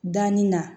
Danni na